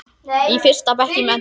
Í fyrsta bekk í menntó.